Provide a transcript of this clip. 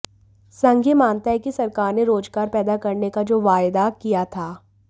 संघ ये मानता है कि सरकार ने रोजगार पैदा करने का जो वायदा किया था